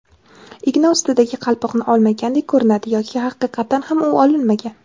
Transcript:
igna ustidagi qalpoqni olmagandek ko‘rinadi yoki haqiqatan ham u olinmagan.